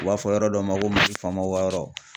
U b'a fɔ yɔrɔ dɔ ma ko Mali faamaw ka yɔrɔ.